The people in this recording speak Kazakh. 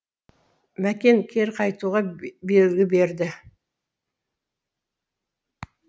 мәкен кері қайтуға белгі берді